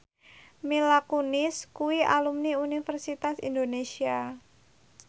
Mila Kunis kuwi alumni Universitas Indonesia